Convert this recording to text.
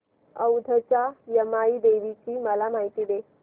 औंधच्या यमाई देवीची मला माहिती दे